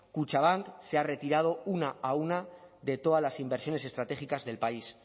kutxabank se ha retirado una a una de todas las inversiones estratégicas del país